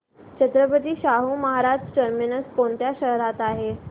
Chhatrapati Shahu Maharaj terminus कोणत्या शहरात आहे